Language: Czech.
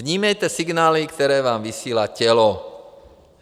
Vnímejte signály, které vám vysílá tělo.